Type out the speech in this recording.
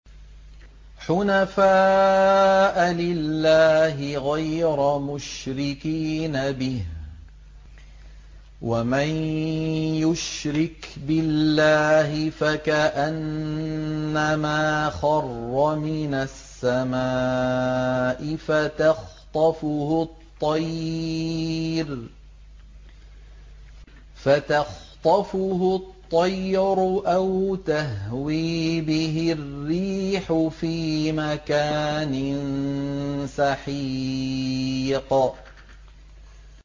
حُنَفَاءَ لِلَّهِ غَيْرَ مُشْرِكِينَ بِهِ ۚ وَمَن يُشْرِكْ بِاللَّهِ فَكَأَنَّمَا خَرَّ مِنَ السَّمَاءِ فَتَخْطَفُهُ الطَّيْرُ أَوْ تَهْوِي بِهِ الرِّيحُ فِي مَكَانٍ سَحِيقٍ